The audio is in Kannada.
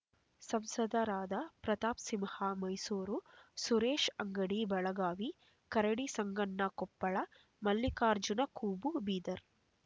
ಸಂಸದರಾದ ಪ್ರತಾಪ್ ಸಿಂಹ ಮೈಸೂರು ಸುರೇಶ್ ಅಂಗಡಿ ಬೆಳಗಾವಿ ಕರಡಿ ಸಂಗಣ್ಣ ಕೊಪ್ಪಳ ಮಲ್ಲಿಕಾರ್ಜುನ ಖೂಬ ಬೀದರ್